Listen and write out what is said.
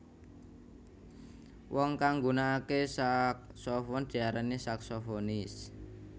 Wong kang nggunakakè saksofon diarani saksofonis